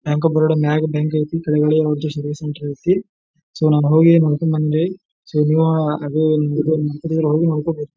Bank of Baroda ಮ್ಯಾಗ್ bank ಐತಿ ಕೆಳಗಡೆ ಇವ್ರದ ಸರ್ವಿಸ್ ಸೆಂಟರ್ ಐತಿ ಸೋ ನಾನ ಹೋಗಿ ನೋಡ್ಕೊಂಡ್ ಬಂದೀನ್ರಿ. ಸೋ ನೀವು ನೋಡ್ಕೊಂಡಬರ್ರೀ.